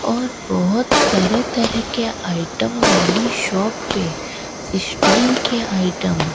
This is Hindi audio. और बहोत तरह तरह के आइटम वाली शॉप पे स्टील के आइटम --